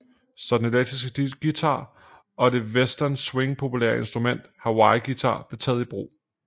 Så den elektriske guitar og det i western swing populære instrument hawaii guitar blev taget i brug